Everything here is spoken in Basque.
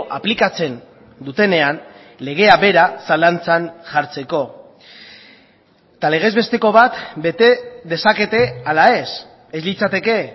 aplikatzen dutenean legea bera zalantzan jartzeko eta legez besteko bat bete dezakete ala ez ez litzateke